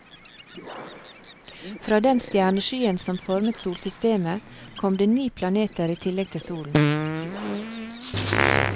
Fra den stjerneskyen som formet solsystemet, kom det ni planeter i tillegg til solen.